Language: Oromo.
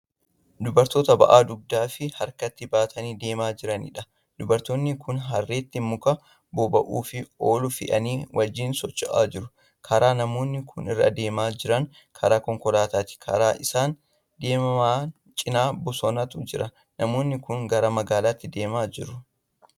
Dubartoota ba'aa dugdaafi harkatti banatanii deemaa jiraniidha. dubartoonni Kuni harreetti muka boba'uuf oolu fe'anii wajjiin socho'aa jiru. karaan namoonni Kun irra deemaa Jiran karaa konkolaataati. karaa isaan deeman cinaa bosonatu Jira. namoonni Kuni gara magaalaatti deemaa jiru.